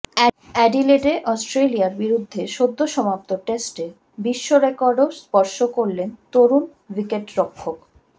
অ্যাডিলেডে অস্ট্রেলিয়ার বিরুদ্ধে সদ্য সমাপ্ত টেস্টে বিশ্বরেকর্ডও স্পর্শ করলেন তরুণ উইকেটরক্ষক